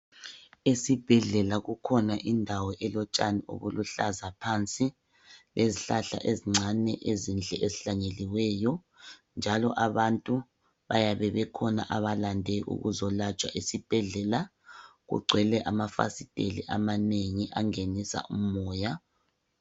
Esibhedlela kukhona indawo elotshani obuluhlaza phansi, lezihlahla ezincane ezinhle ezihlanyeliweyo njalo abantu bayabe bekhona abalande ukuzolatshwa, esibhedlela kugcwele amafasitela amanengi angenisa umoya.